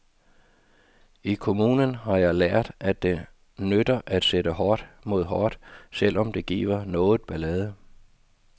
I kommunen har jeg lært, at det nytter at sætte hårdt mod hårdt, selv om det giver noget ballade.